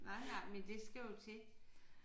Nej nej men det skal jo til